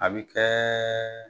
A bɛ kɛ